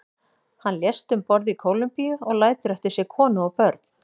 Hann lést um borð í Kólumbíu og lætur eftir sig konu og börn.